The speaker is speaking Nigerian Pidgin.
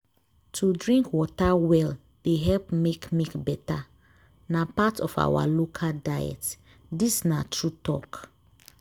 to drink water well dey help make milk better. na part of our local diet. dis na true talk.